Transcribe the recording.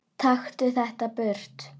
Taktu þetta burt!